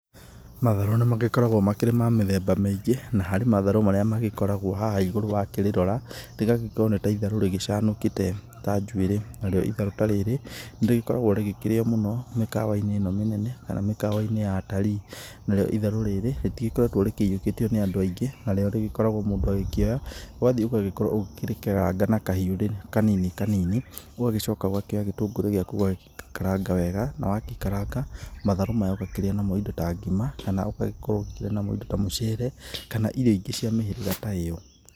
Matharũ nĩ magĩkoragwo makĩrĩ ma mithemba mĩngĩ ,na harĩ matharũ marĩa magĩkoragwo haha igũrũ wa kĩrĩrora, rĩgagĩkorwo nĩ tharũ rĩcanũkĩte ta njuĩrĩ narĩo itharũ ta rĩrĩ ,nĩrĩgĩkoragwo rĩkĩrĩo mũno mĩkawa ĩno mĩnene kana mĩkawa-inĩ ya atarii, narĩo itharu rĩrĩ rĩtigĩkoretwo rĩkĩyũkĩtio nĩ andũ aingĩ, narĩo rĩgĩkoragwo mũndũ agĩkĩonya ũgathie ũgagĩkorwo ũkĩrĩkeranga na kahiu rĩ kanini kanini ũgĩcoka ũgakĩoya gĩtũngũrúú gĩúakũ ũgagĩkaranga wega na wagĩkaranga, matharũ maya ũgakĩrĩa namũ indo ta ngima kana ũgagĩkorwo ũkĩrĩa namo indo ta mũcere kana irio ingĩ cĩa mĩhĩrĩga ta ĩo.